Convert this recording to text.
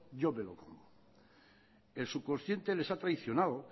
yo me lo como el subconsciente les ha traicionado